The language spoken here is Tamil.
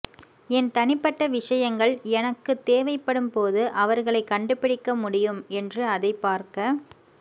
என் தனிப்பட்ட விஷயங்கள் எனக்கு தேவைப்படும் போது அவர்களை கண்டுபிடிக்க முடியும் என்று அதை பார்க்க